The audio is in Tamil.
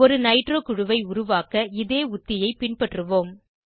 ஒரு நைட்ரோ குழுவை உருவாக்க இதே உத்தியைப் பின்பற்றுவோம்